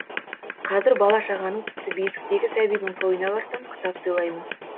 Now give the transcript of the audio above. қазір бала шағаның тіпті бесіктегі сәбидің тойына барсам кітап сыйлаймын